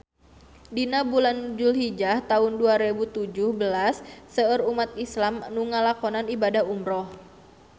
Dina bulan Dulhijah taun dua rebu tujuh belas seueur umat islam nu ngalakonan ibadah umrah